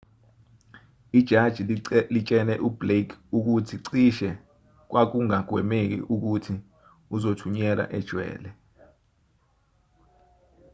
ijaji litshele ublake ukuthi cishe kwakungagwemeki ukuthi uzothunyelwa ejele